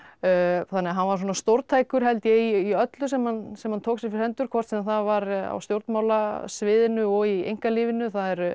þannig að hann var svona stórtækur held ég í öllu sem hann sem hann tók sér fyrir hendur hvort sem það var á stjórnmálasviðinu og í einkalífinu það er